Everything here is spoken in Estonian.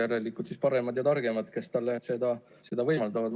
Järelikult on need paremad ja targemad, kes talle seda võimaldavad.